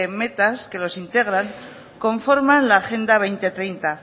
metas que los integran conforman la agenda dos mil treinta